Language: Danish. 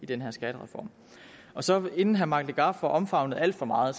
den her skattereform så inden herre mike legarth får omfavnet alt for meget